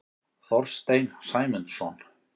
Þorstein Sæmundsson.